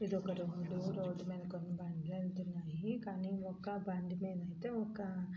ఇదొక road . Road మీద బండ్లు వెళ్తున్నాయి. కానీ ఒక్క బండి మీదయితే ఒక --